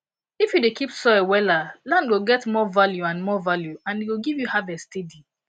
if you dey keep soil wella land go get more value and more value and e go give you harvest steady